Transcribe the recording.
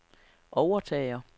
overtager